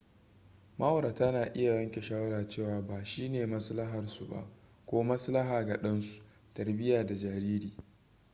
ma'aurata na iya yanke shawara cewa ba shine maslaharsu ba ko maslaha ga ɗansu tarbiyyar da jariri